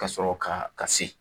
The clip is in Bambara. Ka sɔrɔ ka ka se.